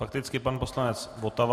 Fakticky pan poslanec Votava.